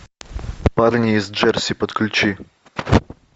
парни из джерси подключи